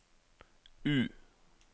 U